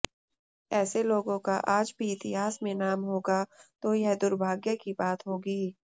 ऐसे लोगों का आज भी इतिहास में नाम होगा तो यह दुर्भाग्य की बात होगी